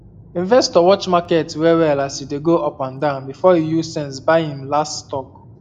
investor watch market wellwell as e dey um go up and down before e use sense buy um him um last stock